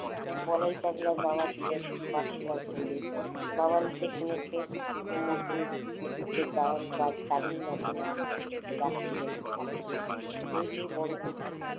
বলাই পাগলার বাবা ছিলেন পাঠশালার পন্ডিত বাবার মুখে শুনেছে, মুখোজ্জদের দারুন নাকি নাম ডাকছিল একসময় ওই যে বড় পুকুর